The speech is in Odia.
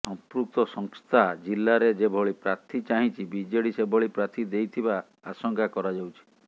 ସମ୍ପୃକ୍ତ ସଂସ୍ଥା ଜିଲ୍ଲାରେ ଯେଭଳି ପ୍ରାର୍ଥୀ ଚାହିଁଛି ବିଜେଡି ସେଭଳି ପ୍ରାର୍ଥୀ ଦେଇଥିବା ଆଶଙ୍କା କରାଯାଉଛି